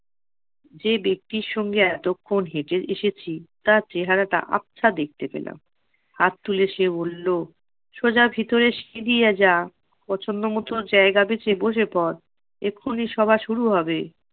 যে ব্যক্তির সঙ্গে এতক্ষন হেঁটে এসেছি তার চেহারাটা আবছা দেখতে পেলাম। হাত তুলে সে বললো, সোজা ভিতরে সিঁধিয়ে যা, পছন্দ মতো জায়গা বেছে বসে পর। এক্ষুনি সভা শুরু হবে।